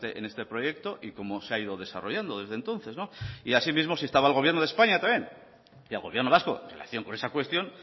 en este proyecto y cómo se ha ido desarrollando desde entonces y asimismo se instaba al gobierno de españa también y al gobierno vasco en relación con esa cuestión